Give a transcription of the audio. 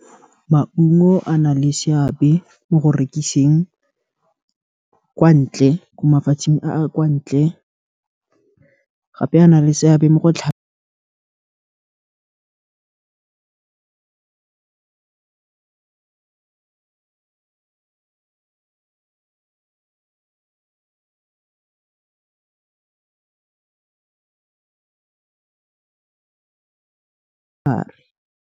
Maungo a na le seabe mo go rekiseng, teng kwa ntle, ko mafatsheng a kwa ntle, gape a na le seabe mo go .